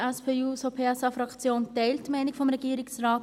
Die SP-JUSO-PSA-Fraktion teilt die Meinung des Regierungsrates.